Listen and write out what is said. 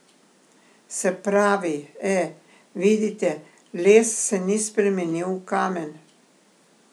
Se pravi, e, vidite, les se ni spremenil v kamen.